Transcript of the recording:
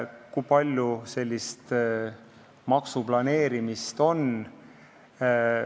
Kui palju sellist maksuplaneerimist on?